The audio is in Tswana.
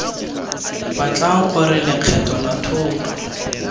batla gore lekgetho la thoto